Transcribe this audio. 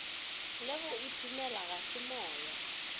le go iphemela ga semoya